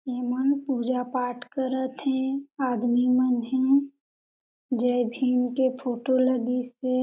ये मन पूजा-पाट करत हे आदमी मन हे जय भीम के फोटो लगिस हे।